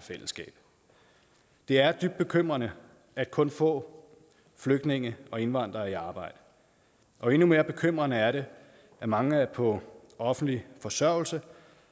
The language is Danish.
fællesskab det er dybt bekymrende at kun få flygtninge og indvandrere er i arbejde og endnu mere bekymrende er det at mange er på offentlig forsørgelse